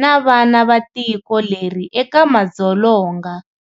na vana va tiko leri eka madzolonga.